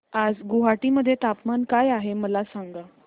आज गुवाहाटी मध्ये तापमान काय आहे मला सांगा